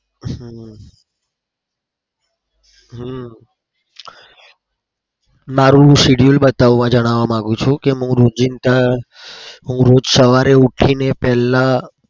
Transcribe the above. હમ હમ મારું schedule બતાવવા જણાવવા માગું છું કે હું રોજીંદા હું રોજ સવારે ઉઠીને પેલા